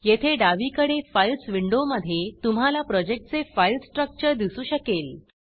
येथे डावीकडे फाईल्स विंडोमधे तुम्हाला प्रोजेक्टचे फाईल स्ट्रक्चर दिसू शकेल